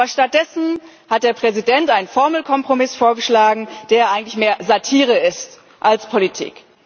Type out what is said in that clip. Aber stattdessen hat der Präsident einen Formelkompromiss vorgeschlagen, der eigentlich mehr Satire ist als Politik.